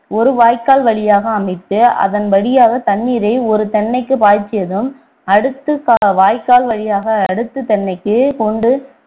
ஒரு வாய்க்கால் வழியாக அமைத்து அதன் வழியாக தண்ணீரை ஒரு தென்னைக்கு பாய்ச்சியதும் அடுத்து வாய்க்கால் வழியாக அடுத்த தென்னைக்கு கொண்டு